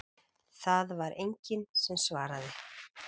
Það var enginn sem svaraði.